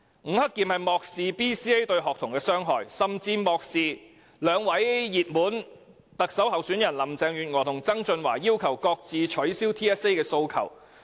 吳克儉漠視 BCA 對學童的傷害，亦無視兩位熱門特首候選人林鄭月娥和曾俊華要求取消 TSA 的訴求。